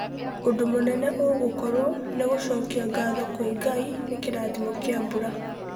ũndũ mũnene ũgũkorwo nĩ gũcokia ngatho kwĩ Ngai nĩ kĩrathimo kĩa mbura.